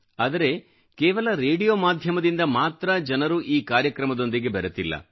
ಆದರೆ ಕೇವಲ ರೇಡಿಯೋ ಮಾಧ್ಯಮದಿಂದ ಮಾತ್ರ ಜನರು ಈ ಕಾರ್ಯಕ್ರಮದೊಂದಿಗೆ ಬೆರೆತಿಲ್ಲ